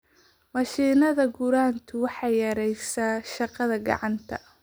Mashiinnada gurantu waxay yareeyaan shaqada gacanta.